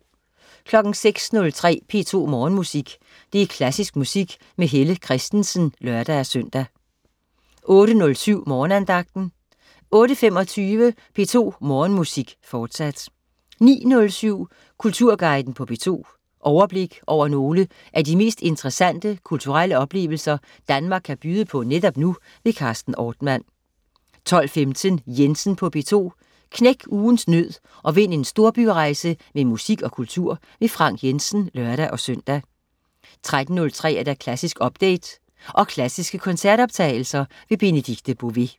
06.03 P2 Morgenmusik. Klassisk musik med Helle Kristensen (lør-søn) 08.07 Morgenandagten 08.25 P2 Morgenmusik, fortsat 09.07 Kulturguiden på P2. Overblik over nogle af de mest interessante kulturelle oplevelser, Danmark kan byde på netop nu. Carsten Ortmann 12.15 Jensen på P2. Knæk ugens nød og vind en storbyrejse med musik og kultur. Frank Jensen (lør-søn) 13.03 Klassisk update. Og klassiske koncertoptagelser. Benedikte Bové